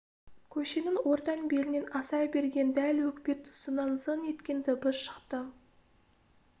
көшенің ортан белінен аса берген дәл өкпе тұсынан зың еткен дыбыс шықты